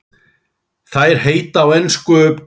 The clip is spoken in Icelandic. Þær heita á ensku